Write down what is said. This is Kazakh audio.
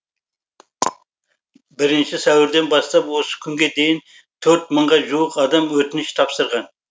бірінші сәуірден бастап осы күнге дейін төрт мыңға жуық адам өтініш тапсырған